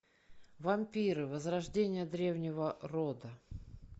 вампиры возрождение древнего рода